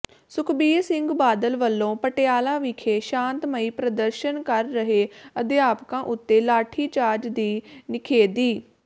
ਸੁਖਬੀਰ ਸਿੰਘ ਬਾਦਲ ਵੱਲੋਂ ਪਟਿਆਲਾ ਵਿਖੇ ਸ਼ਾਂਤਮਈ ਪ੍ਰਦਰਸ਼ਨ ਕਰ ਰਹੇ ਅਧਿਆਪਕਾਂ ਉੱਤੇ ਲਾਠੀਚਾਰਜ ਦੀ ਨਿਖੇਧੀ